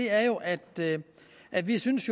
er jo at at vi synes